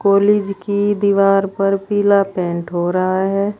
College की दीवार पर पीला पेंट हो रहा है।